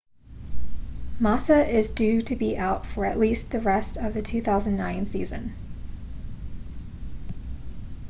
massa is due to be out for at least the rest of the 2009 season